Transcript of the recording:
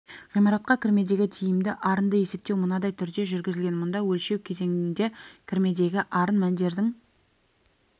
ғимаратқа кірмедегі тиімді арынды есептеу мынадай түрде жүргізілген мұнда өлшеу кезеңінде кірмедегі арын мәндерінің